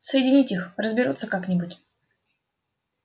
соединить их разберутся как-нибудь